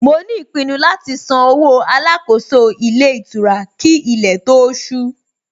Mo ní ìpinnu láti san owó Alákóso ilé ìtura kí ilé tó ó ṣú